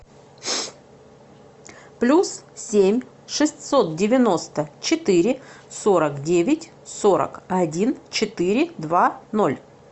плюс семь шестьсот девяносто четыре сорок девять сорок один четыре два ноль